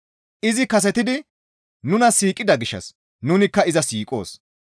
Izi kasetidi nuna siiqida gishshas nunikka iza siiqoos.